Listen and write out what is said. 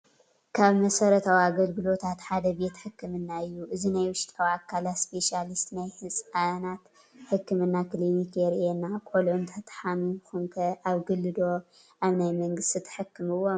ካብ መሰረታዊ ኣገልግሎታት ሓደ ቤት ሕክምና እዩ፡፡ እዚ ናይ ውሽጣዊ ኣካላት ስፔሻሊስትን ናይ ህፃናት ሕክምና ክሊኒክ የሪኤና፡፡ ቆልዑ እንተሓሚመሙኹም ኣብ ግሊ ዶ ኣብ ናይ መንግስቲ ተሐክምዎም?